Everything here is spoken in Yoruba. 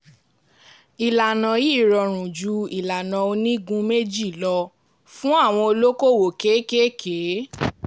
ìlànà yìí rọrùn jù ìlànà onígun méjì lọ fún àwọn olókòwò kéékèèké.